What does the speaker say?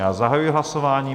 Já zahajuji hlasování.